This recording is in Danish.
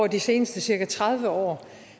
de seneste cirka tredive år